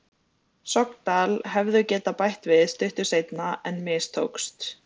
Sogndal hefðu getað bætt við stuttu seinna en mistókst.